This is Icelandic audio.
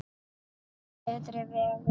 Til betri vegar.